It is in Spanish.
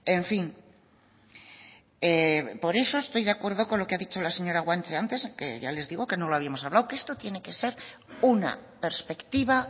en fin por eso estoy de acuerdo con lo que ha dicho la señora guanche antes que ya les digo que no lo habíamos hablado que esto tiene que ser una perspectiva